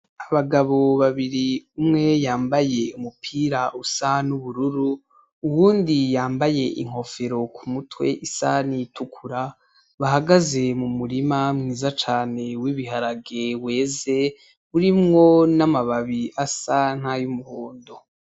Abagabo babiri umwe yambaye umupira usa n'ubururu, uwundi yambaye inkofero ku mutwe isa n'iyitukura, bahagaze mu murima mwiza cane w'ibiharage weze, urimwo n'amababi asa n'ayumuhondo.